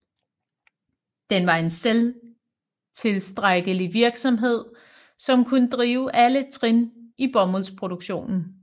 Den var en selvtilstrækkelig virksomhed som kunne drive alle trin i bomuldsproduktionen